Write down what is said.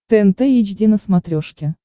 тнт эйч ди на смотрешке